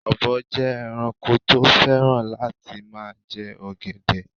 Ọ̀bọ jẹ ẹranko tí ó fẹ́ràn láti ma jẹ ọ̀gẹ̀dẹ̀